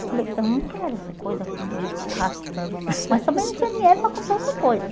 Eu falei, eu não quero essa coisa pendurada, arrastando não, mas também não tinha dinheiro para comprar outra coisa.